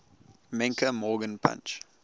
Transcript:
menke morgan punch